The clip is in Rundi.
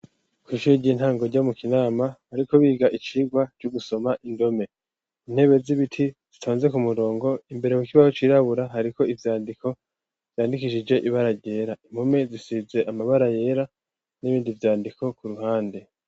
Kw'ishure ry'intango ryo mu Kinama, bariko biga icigwa c'ugusoma indome, intebe z'ibiti zitonze ku murongo, imbere ku kibaho cirabura hariko ivyandiko vyandikishije ibara ryera, impome zisize amabara yera, n'ibindi vyandiko ku ruhande.